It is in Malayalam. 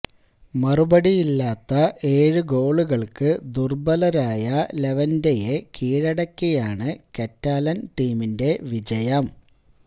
മറുപടിയില്ലാത്ത ഏഴ് ഗോളുകള്ക്ക് ദുര്ബലരായ ലെവന്റെയെ കീഴടക്കിയാണ് കറ്റാലന് ടീമിന്റെ വിജയം